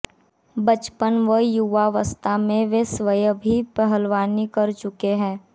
बचपन व युवावस्था में वे स्वयं भी पहलवानी कर चुके हैं